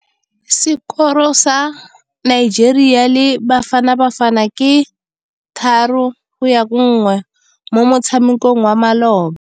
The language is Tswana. Sekôrô sa Nigeria le Bafanabafana ke 3-1 mo motshamekong wa malôba.